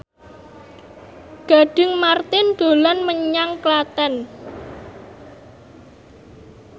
Gading Marten dolan menyang Klaten